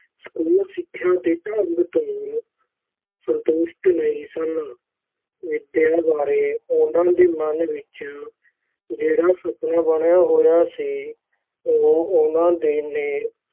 school ਸਿੱਖਿਆ ਦੇ ਢੰਗ ਤੋਂ ਸੰਤੁਸ਼ਟ ਨਹੀਂ ਸਨ, ਵਿਦਿਆ ਬਾਰੇ ਉਨ੍ਹਾਂ ਦੇ ਮਨ ਵਿਚ ਜਿਹੜਾ ਸੁਪਨਾ ਬਣਿਆ ਹੋਇਆ ਸੀ, ਉਹ ਉਨ੍ਹਾਂ ਦੇ ਨੇ